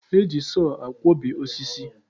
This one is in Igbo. Eji sọọ akwọbi osisi.